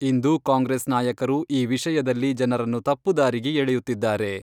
ಇಂದು Congress ನಾಯಕರು ಈ ವಿಷಯದಲ್ಲಿ ಜನರನ್ನು ತಪ್ಪು ದಾರಿಗೆ ಎಳೆಯುತ್ತಿದ್ದಾರೆ.